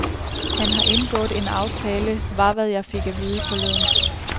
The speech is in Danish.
Han har indgået en aftale, var hvad jeg fik at vide forleden.